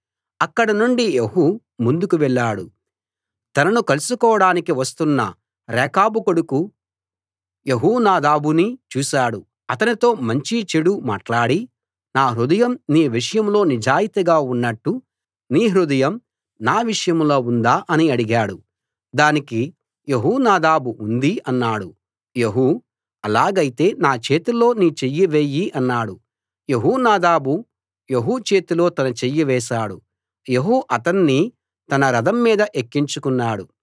అక్కడనుండి యెహూ ముందుకు వెళ్ళాడు తనను కలుసుకోడానికి వస్తున్న రేకాబు కొడుకు యెహోనాదాబుని చూశాడు అతనితో మంచీ చెడూ మాట్లాడి నా హృదయం నీ విషయంలో నిజాయితీగా ఉన్నట్టు నీ హృదయం నా విషయంలో ఉందా అని అడిగాడు దానికి యెహోనాదాబు ఉంది అన్నాడు యెహూ ఆలాగైతే నా చేతిలో నీ చెయ్యి వేయి అన్నాడు యెహోనాదాబు యెహూ చేతిలో తన చెయ్యి వేశాడు యెహూ అతణ్ణి తన రథం మీద ఎక్కించుకున్నాడు